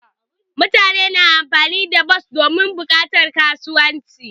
Mutane na amfani da bas domin bukatar kasuwanci.